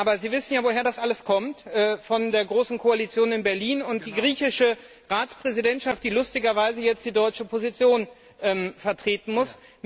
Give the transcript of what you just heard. Aber Sie wissen ja, woher das alles kommt Von der großen Koalition in Berlin und der griechischen Ratspräsidentschaft, die lustigerweise jetzt die deutsche Position vertreten muss.